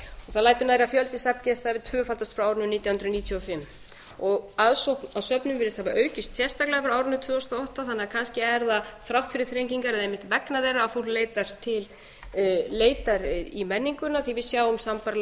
það lætur nærri að fjöldi safngesta hafi tvöfaldast frá árinu nítján hundruð níutíu og fimm aðsókn að söfnum virðist hafa aukist sérstaklega frá árinu tvö þúsund og átta þannig að kannski er það þrátt fyrir þrengingar eða einmitt vegna þeirra að fólk leitar í menninguna því við sjáum sambærilega